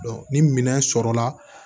ni minɛn sɔrɔla